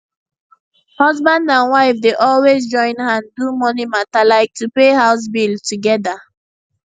husband and wife dey always join hand do money mata like to pay house bill together